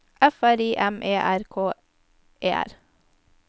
F R I M E R K E R